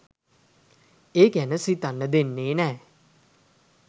ඒ ගැන හිතන්න දෙන්නෙ නෑ.